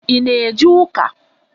I ná eje ụka?